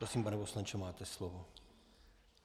Prosím, pane poslanče, máte slovo.